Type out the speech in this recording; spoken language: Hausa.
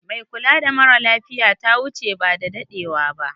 Mai kulawa mara lafiya ta wuche ba da dadewa ba.